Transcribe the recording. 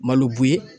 Malo bo ye